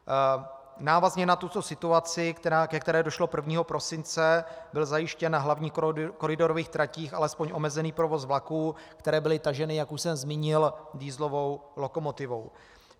Návazně na tuto situaci, ke které došlo 1. prosince, byl zajištěn na hlavních koridorových tratích alespoň omezený provoz vlaků, které byly taženy, jak už jsem zmínil, dieselovou lokomotivou.